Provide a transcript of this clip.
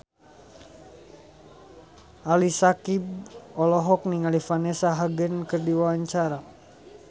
Ali Syakieb olohok ningali Vanessa Hudgens keur diwawancara